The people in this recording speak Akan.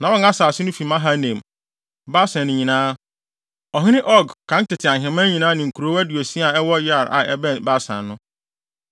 Na wɔn asase no fi Mahanaim, Basan nyinaa, ɔhene Og kan tete ahemman nyinaa ne nkurow aduosia a ɛwɔ Yair a ɛwɔ Basan no.